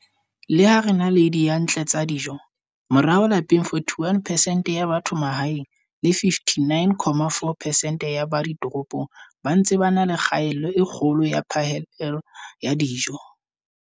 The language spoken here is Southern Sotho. Le ha re na le diyantle tsa dijo, morao lapeng 41 percent ya batho ba mahaeng le 59, 4 percent ya ba ditoropong ba ntse ba na le kgaello e kgolo ya phihlello ya dijo.